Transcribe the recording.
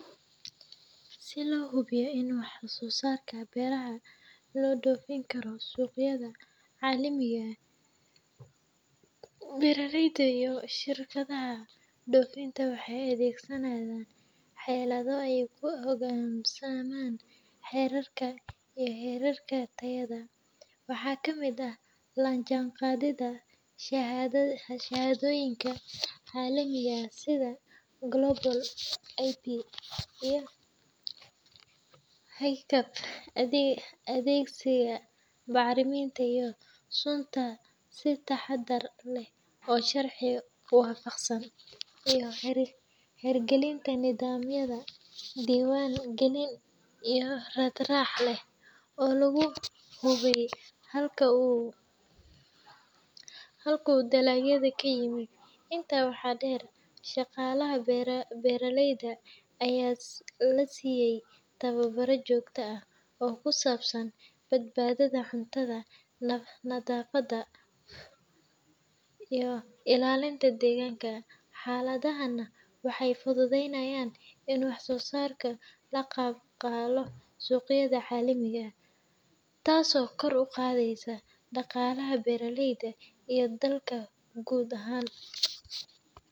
Si loo hubiyo in waxsoosaarka beeraha loo dhoofin karo suuqyada caalamiga ah, beeraleyda iyo shirkadaha dhoofinta waxay adeegsadaan xeelado ay ku hogaansamaan xeerarka iyo heerarka tayada. Waxaa ka mid ah la jaanqaadidda shahaadooyinka caalamiga ah sida GlobalG.A.P. iyo HACCP, adeegsiga bacriminta iyo sunta si taxaddar leh oo sharci waafaqsan, iyo hirgelinta nidaamyo diiwaan gelin iyo raad-raac leh oo lagu hubiyo halka uu dalagga ka yimid. Intaa waxaa dheer, shaqaalaha beeraleyda ayaa la siiyaa tababaro joogto ah oo ku saabsan badbaadada cuntada, nadaafadda, iyo ilaalinta deegaanka. Xeeladahani waxay fududeeyaan in waxsoosaarka la aqbalo suuqyada caalamiga ah, taasoo kor u qaadda dhaqaalaha beeraleyda iyo dalka guud ahaan.